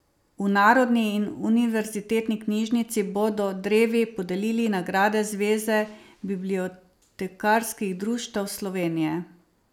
V Narodni in univerzitetni knjižnici bodo drevi podelili nagrade Zveze bibliotekarskih društev Slovenije.